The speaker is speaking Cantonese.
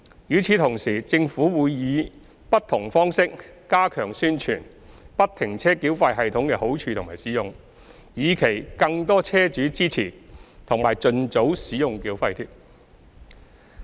與此同時，政府會以不同方式加強宣傳不停車繳費系統的好處和使用，以期更多車主支持及盡早使用繳費貼。